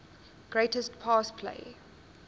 greatest pass play